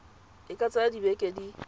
e ka tsaya dibeke di